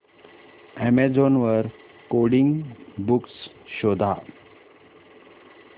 Amazon वर coding books शोधा